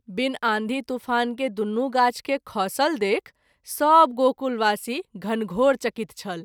बिनु आँधी तुफान के दुनू गाछ के खसल देखि सभ गोकुलवासी घनघोर चकित छल।